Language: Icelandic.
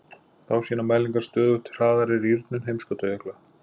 Þá sýna mælingar stöðugt hraðari rýrnun heimskautajökla.